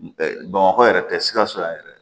Bamakɔ yɛrɛ tɛ sikaso yan yɛrɛ